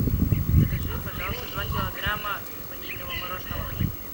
закажи пожалуйста два килограмма ванильного мороженого